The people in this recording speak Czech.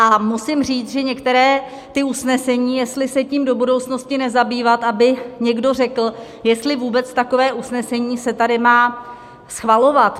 A musím říct, že některá ta usnesení, jestli se tím do budoucnosti nezabývat, aby někdo řekl, jestli vůbec takové usnesení se tady má schvalovat.